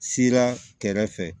Sira kɛrɛfɛ